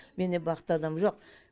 менен бақытты адам жоқ